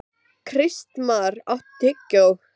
Kristmar, áttu tyggjó?